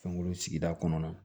Fɛnko sigida kɔnɔna na